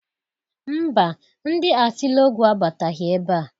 Ḿbà, ndi Atịlọgwụ abataghị ebea.